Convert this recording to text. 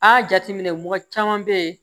A jateminɛ mɔgɔ caman bɛ ye